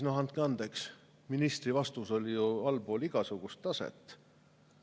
Andke andeks, aga ministri vastus oli ju allpool igasugust taset.